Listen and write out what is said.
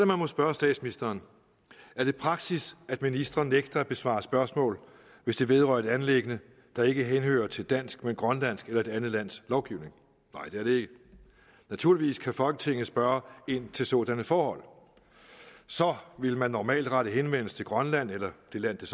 man må spørge statsministeren er det praksis at ministre nægter at besvare spørgsmål hvis det vedrører et anliggende der ikke henhører til dansk men grønlandsk eller et andet lands lovgivning nej det er det ikke naturligvis kan folketinget spørge ind til sådanne forhold så ville man normalt rette henvendelse til grønland eller det land